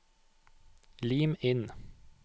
Lim inn